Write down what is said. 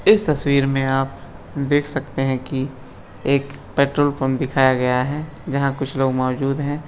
इस तस्वीर में आप देख सकते है की एक पेट्रोल पंप दिखाया गया है जहां कुछ लोग मौजूद है।